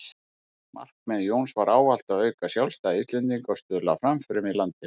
Markmið Jóns var ávallt að auka sjálfstæði Íslendinga og stuðla að framförum á landinu.